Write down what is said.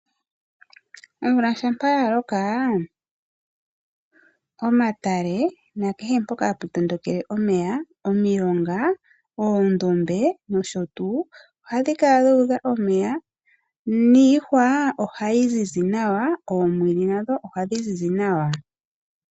Omvula shampa yaloka omatale nakehe mpoka hapu tondokele omeya omilonga, oondombe nosho tuu ohapu di kala dhuudha omeya niihwa ohayi zizi nawa noomwiidhi ohadhi zizi nawa.